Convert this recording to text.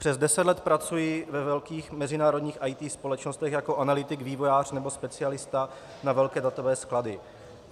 Přes deset let pracuji ve velkých mezinárodních IT společnostech jako analytik, vývojář nebo specialista na velké datové sklady.